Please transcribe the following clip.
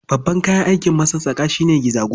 Babban kayan aikin masassaƙa shi ne gizago.